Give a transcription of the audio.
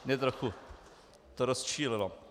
Mě trochu to rozčílilo.